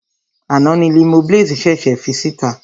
Àná ni Limoblaze ṣèṣè fi síta.